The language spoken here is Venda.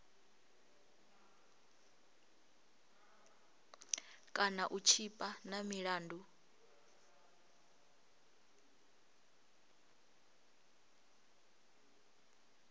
kana u tshipa na milandu